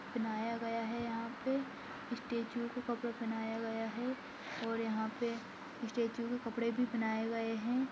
बनाया गया है यहां पर स्टैचू को कपड़ा बनाया गया है और यहां पर स्टैचू के कपड़े भी बनाए गए है।